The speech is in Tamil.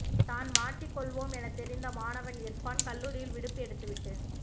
தான் மாட்டி கொள்வோம் என தெரிந்த மாணவன் இர்ஃபான் கல்லூரியில் விடுப்பு எடுத்துவிட்டு